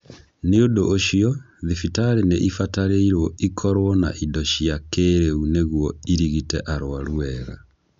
Nĩ ũndũ ũcio, thibitarĩ nĩ ibatĩrĩirwo ikorwo na indo cia kĩĩrĩu nĩguo ĩrigite arũaru wega.